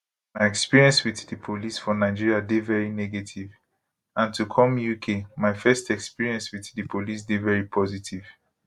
my experience wit di police for nigeria dey veri negative and to come uk my first experience wit di police dey veri positive